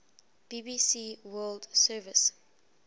bbc world service